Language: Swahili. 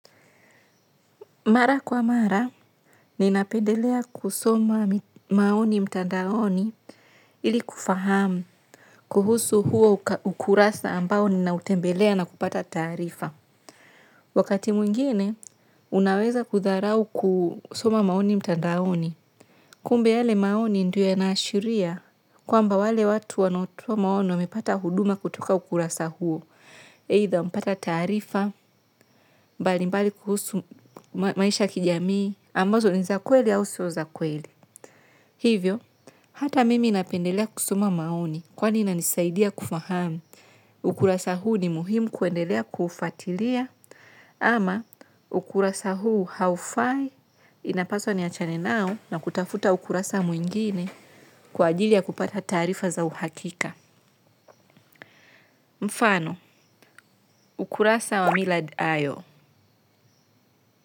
Mara kwa mara, ninapendelea kusoma maoni mtandaoni ili kufahamu kuhusu huo ukurasa ambao ninautembelea na kupata taarifa. Wakati mwingine, unaweza kudharau kusoma maoni mtandaoni. Kumbe yale maoni ndio yanaashiria kwamba wale watu wanaotoa maoni wapata huduma kutoka ukurasa huo. Aitha wapata taarifa, mbalimbali kuhusu maisha ya kijamii, ambazo ni za kweli au sio za kweli. Hivyo, hata mimi napendelea kusoma maoni, kwani inanisaidia kufahamu. Ukurasa huu ni muhimu kuendelea kuufuatilia, ama ukurasa huu haufai inapaswa niachane nao na kutafuta ukurasa mwingine kwa ajili ya kupata taarifa za uhakika. Mfano, ukurasa wa Millard Ayo.